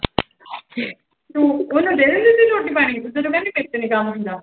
ਤੁੰ ਉਹਨੂੰ ਦੇ ਦਿੰਦੀ ਰੋਟੀ ਪਾਣੀ, ਤੇ ਤੂੰ ਕਹਿੰਦੀ ਮੇਰੇ ਤੋਂ ਨੀ ਕੰਮ ਹੁੰਦਾ।